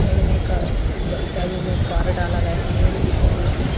मेड़ में का ऊंचाइयों में पार डाला गया है मेड़ जिसे बोलते है।